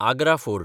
Agra fort